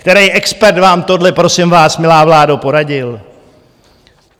Který expert vám tohle, prosím vás, milá vládo, poradil?